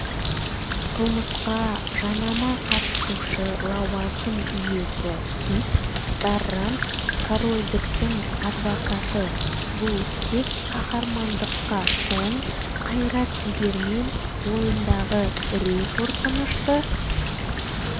қылмысқа жанама қатысушы лауазым иесі кит даррант корольдіктің адвокаты бұл тек қаһармандыққа тоң қайрат-жігермен бойындағы үрей-қорқынышты